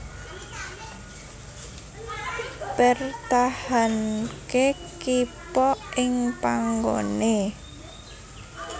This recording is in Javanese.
Mpertahanke kippa ing panggone